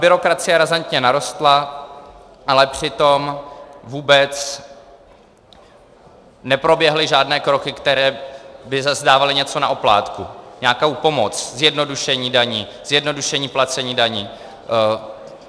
Byrokracie razantně narostla, ale přitom vůbec neproběhly žádné kroky, které by zase dávaly něco na oplátku, nějakou pomoc, zjednodušení daní, zjednodušení placení daní.